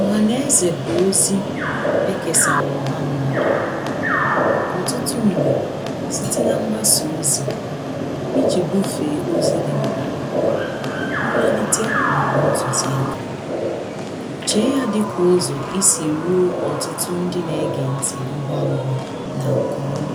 ọhaneze bụ ozī ekesara ọha mmadụ̄ ọtụtụ mgbè site na-mgbasa ozi iji gufee ozi dịmkpà mmelite maọbụ ntụzịakā chie ya dịka ụzọ isi ruo ọtụtụ ndị na-ege nti ngwa ngwà na nke ọmà